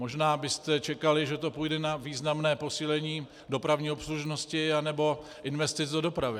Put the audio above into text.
Možná byste čekali, že to půjde na významné posílení dopravní obslužnosti anebo investic do dopravy.